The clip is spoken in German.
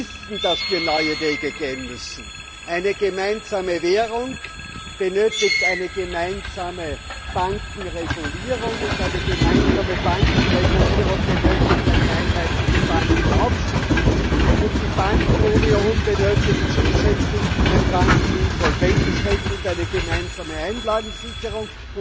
Wir wissen, dass wir neue Wege gehen müssen. Eine gemeinsame Währung benötigt eine gemeinsame Bankenregulierung, eine gemeinsame Bankenregulierung benötigt eine einheitliche Bankenaufsicht, und die Bankenunion benötigt zusätzlich ein Bankeninsolvenzrecht und eine gemeinsame Einlagensicherung.